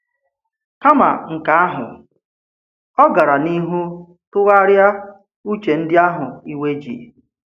Kàma nke ahụ, ọ̀ gara n’ihu tụgharịa ùche ndị ahụ ìwe ji.